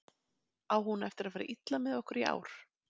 Á hún eftir að fara illa með okkur í ár?